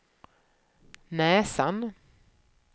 näsan